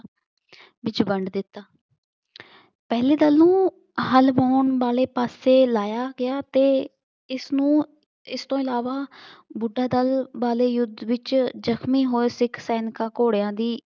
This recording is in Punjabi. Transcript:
ਵਿੱਚ ਵੰਡ ਦਿੱਤਾ। ਪਹਿਲੇ ਦਲ ਨੂੰ ਹਲ ਵਾਹੁਣ ਵਾਲੇ ਪਾਸੇ ਲਾਇਆ ਗਿਆ ਤੇ ਇਸਨੂੰ ਇਸਤੋਂ ਇਲਾਵਾ ਬੁੱਢਾ ਦਲ ਵਾਲੇ ਯੁੱਧ ਵਿੱਚ ਜ਼ਖਮੀ ਹੋਏ ਸਿੱਖ ਸੈਨਿਕਾਂ ਘੋੜਿਆਂ ਦੀ ਵਿੱਚ ਵੰਡ ਦਿੱਤਾ।